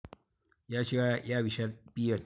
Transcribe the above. याशिवाय या विषयात पीएच.